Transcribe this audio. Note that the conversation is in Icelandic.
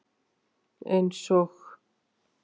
Eins og?